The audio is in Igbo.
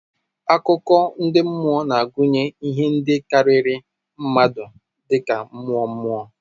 Akụkọ ndị mmụọ na-agụnye ihe ndị karịrị mmadụ dị ka mmụọ, mmụọ.